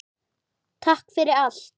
Takk fyrir allt.